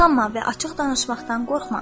Utanma və açıq danışmaqdan qorxma.